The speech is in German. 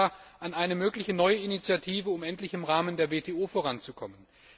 Ich denke da an eine mögliche neue Initiative, um endlich im Rahmen der WTO voranzukommen.